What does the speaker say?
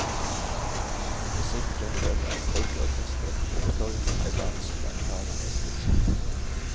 Til musikk fremført av folkeorkesteret kom opptoget, med barn som bar fanene i spissen.